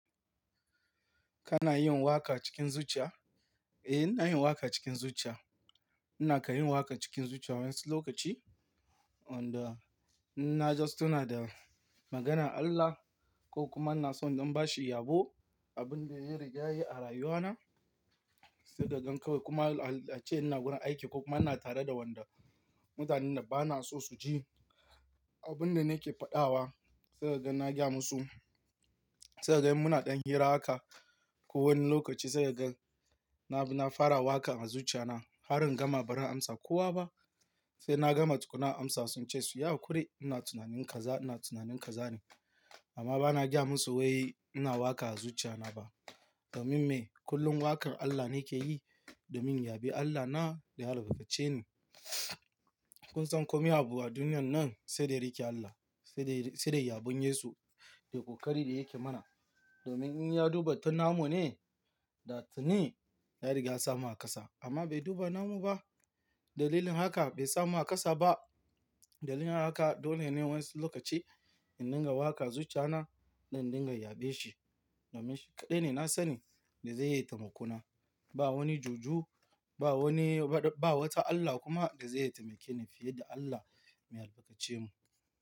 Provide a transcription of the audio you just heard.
Kana yin waƙa cikin zuciya? Eh, ina yin waƙa cikin zuciya. Ina kai yin waƙa cikin zuciya wani lokaci, inda ina just tuna da maganar Allah ko kuma ina so in don ba shi yabo, abin da ya yi rigyaɗi a rayuwana. Sai ka gan kawai kuma a ce ina gurin aiki ko kuma ina tare da wanda mutanen da ba na so su ji abin da nake faɗawa. Sai ka gan na gaya musu. Sai ka ga in muna ɗan hira haka. Ko wani lokaci sai ka gan na fara waƙa a zuciya na har in gama barin amsa kowa ba. Sai na gama tukunna amsa sun ce su, "Yi hakuri ina tunanin kaza, ina tunanin kaza ne." Amma ba na gaya musu wai ina waƙa a zuciya na ba. Domin me? Kullum waƙar Allah nake yi domin yaɓe Allah na da ya albarkace ni. Kun san komai abu a duniyan nan sai da yake Allah, sai da yaɓun Yesu da ƙoƙari da yake mana. Domin in ya duba tun namu ne, da tuni ya riga ya samu a ƙasa. Amma bai duba namu ba. Dalilin haka bai samu a ƙasa ba. Dalilin haka dole ne wani lokaci in dinga waƙa a zuciya na, don dinga yaɓe shi. Domin shi kaɗai ne na sani da zai taimako na. Ba wani juju, ba wani, ba wata Allah kuma da zai taimake ni fiye da Allah mai albarkace mu.